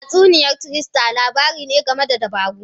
Tatsuniya trickster labari ne game da dabaru.